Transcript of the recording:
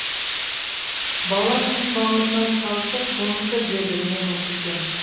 бала кім бауырына салса соныкі дейді менің көкем